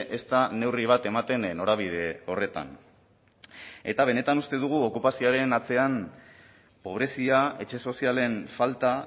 ezta neurri bat ematen norabide horretan eta benetan uste dugu okupazioaren atzean pobrezia etxe sozialen falta